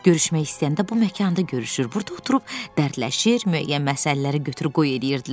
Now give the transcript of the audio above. Görüşmək istəyəndə bu məkanda görüşür, burada oturub dərdləşir, müəyyən məsələləri götür-qoy eləyirdilər.